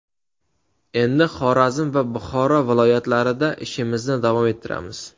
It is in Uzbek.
Endi Xorazm va Buxoro viloyatlarida ishimizni davom ettiramiz”.